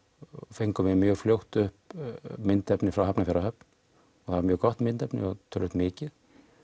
fengum við mjög fljótt upp myndefni frá Hafnarfjarðarhöfn það var mjög gott myndefni og töluvert mikið